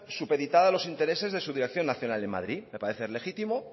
supeditada a los intereses de su dirección nacional en madrid me parece legítimo